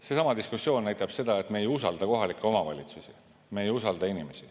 Seesama diskussioon näitab seda, et me ei usalda kohalikke omavalitsusi, me ei usalda inimesi.